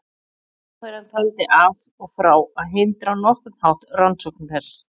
Ráðherrann taldi af og frá að hindra á nokkurn hátt rannsókn þess.